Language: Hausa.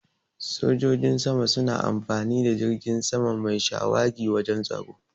Sojojin sama suna amfani da jirgin sama mai shawagi wajan tsaro.